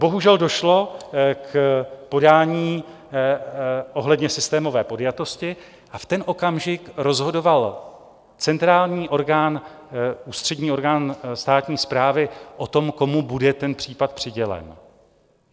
Bohužel, došlo k podání ohledně systémové podjatosti a v ten okamžik rozhodoval centrální orgán, ústřední orgán státní správy o tom, komu bude ten případ přidělen.